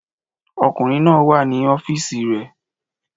Ọkùnrin náà wà ní ọ́fíìsì rẹ̀